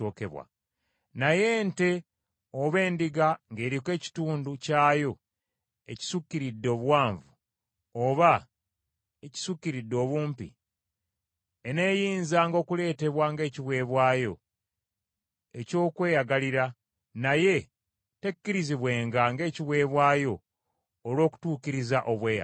Naye ente oba endiga ng’eriko ekitundu kyayo ekisukkiridde obuwanvu oba ekisukkiridde obumpi eneeyinzanga okuleetebwa ng’ekiweebwayo eky’okweyagalira, naye tekkirizibwenga ng’ekiweebwayo olw’okutuukiriza obweyamo.